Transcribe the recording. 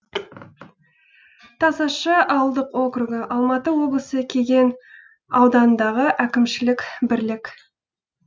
тасашы ауылдық округі алматы облысы кеген ауданындағы әкімшілік бірлік